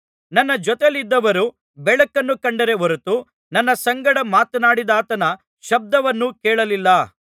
ನನ್ನ ಜೊತೆಯಲ್ಲಿದ್ದವರು ಬೆಳಕನ್ನು ಕಂಡರೇ ಹೊರತು ನನ್ನ ಸಂಗಡ ಮಾತನಾಡಿದಾತನ ಶಬ್ದವನ್ನು ಕೇಳಲಿಲ್ಲ